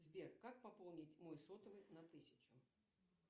сбер как пополнить мой сотовый на тысячу